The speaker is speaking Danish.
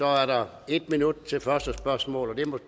er der en minut til første spørgsmål og